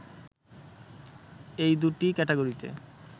এই দু’টি ক্যাটাগরিতে